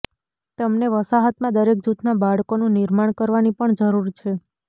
તમને વસાહતમાં દરેક જૂથના બાળકોનું નિર્માણ કરવાની પણ જરૂર છે